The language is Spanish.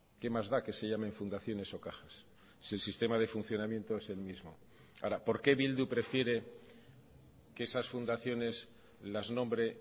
que más da que se llamen fundaciones o cajas si el sistema de funcionamiento es el mismo ahora por qué bildu prefiere que esas fundaciones las nombre